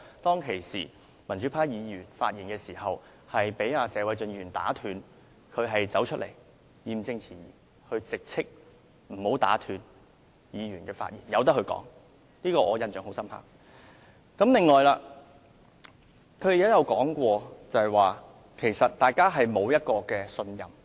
當時，民主派議員發言被謝偉俊議員打斷，石議員義正詞嚴地直斥不應打斷議員的發言，應讓相關議員繼續陳辭，我對此印象非常深刻。